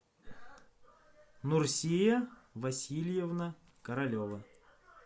нурсия васильевна королева